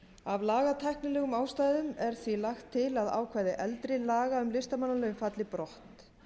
af lagatæknilegum ástæðum er því lagt til að ákvæði eldri laga um listamannalaun falli brott